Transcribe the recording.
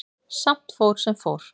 Samt fór sem fór.